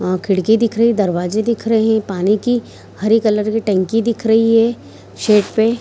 अ अ खिड़की दिख रही है दरवाजे दिख रही है पानी की हरे कलर की टंकी दिख रही है छेत पे।